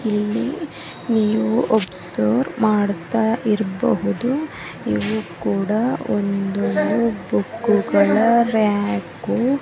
So ಮಾಡ್ತಾ ಇರಬಹುದು ಬುಕ್ಕುಗಳರ್ಯಾಕು ಹಾಗೇನೆ ಈ ಒಂದು ಬುಕ್ಕುಗಳನ್ನು ಜೋಡಿಸಿದ್ದಾರೆ ಹಾಗೇನೆ ಒಂದೊಂದು ಬೋಡಿದೆ.